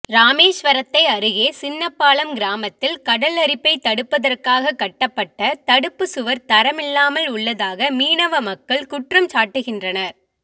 ராமேஸ்வரத்தை அருகே சின்னப்பாலம் கிராமத்தில் கடல் அரிப்பை தடுப்பதற்காகக் கட்டப்பட்ட தடுப்பு சுவர் தரமில்லாமல் உள்ளதாக மீனவ மக்கள் குற்றம்சாட்டுகின்றனர்